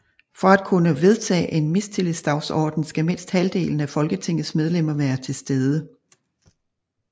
For at kunne vedtage en mistillidsdagsorden skal mindst halvdelen af Folketingets medlemmer være til stede